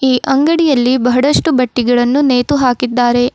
ಈ ಅಂಗಡಿಯಲ್ಲಿ ಬಹಳಷ್ಟು ಬಟ್ಟೆಗಳನ್ನು ನೇತುಹಾಕಿದ್ದಾರೆ.